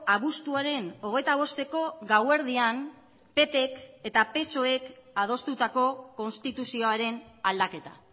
abuztuaren hogeita bosteko gauerdian ppk eta psoek adostutako konstituzioaren aldaketa